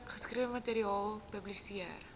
geskrewe materiaal publiseer